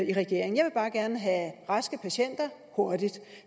i regeringen jeg vil bare gerne have raske patienter hurtigt